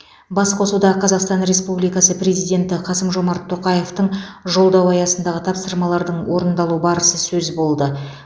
басқосуда қазақстан республикасы президенті қасым жомарт тоқаевтың жолдауы аясындағы тапсырмалардың орындалу барысы сөз болды